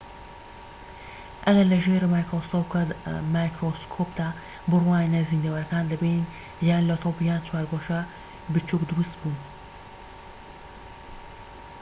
ئەگەر لە ژێر مایکرۆسکۆپدا بڕوانیتە زیندەوەرەکان دەبینیت یان لە تۆپ یان چوارگۆشەی بچوك دروست بوون